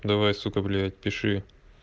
давай сука блять пиши